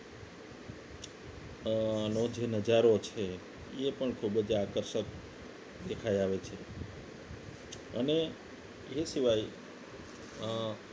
આનો જે નજારો છે એ પણ ખૂબ જ આકર્ષક દેખાઈ આવે છે અને એ સિવાય અ